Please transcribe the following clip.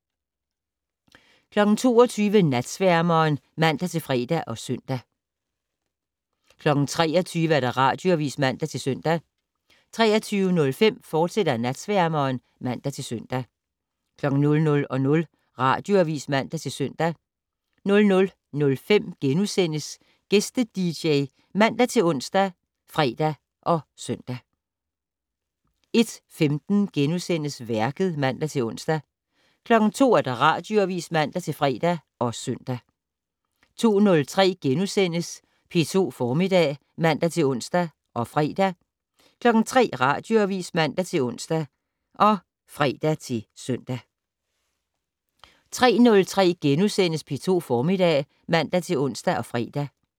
22:00: Natsværmeren (man-fre og søn) 23:00: Radioavis (man-søn) 23:05: Natsværmeren, fortsat (man-søn) 00:00: Radioavis (man-søn) 00:05: Gæste-dj *( man-ons, fre, -søn) 01:15: Værket *(man-ons) 02:00: Radioavis (man-fre og søn) 02:03: P2 Formiddag *(man-ons og fre) 03:00: Radioavis (man-ons og fre-søn) 03:03: P2 Formiddag *(man-ons og fre)